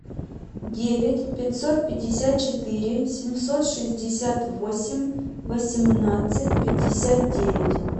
девять пятьсот пятьдесят четыре семьсот шестьдесят восемь восемнадцать пятьдесят девять